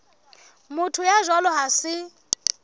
motho ya jwalo ha se